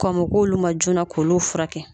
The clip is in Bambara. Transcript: Kɔn bɛ k'olu ma joona k'o furakɛ.